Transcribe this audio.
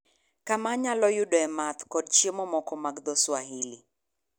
kama anyalo yudoe madho kod chiemo moko mag dho Swahili